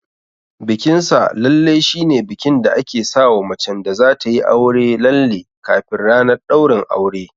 Bikin sa lalle shine bikin da ake sawa macen da zatayi aure lalle kafin ranar ɗaurin aure.